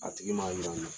A tigi ma yira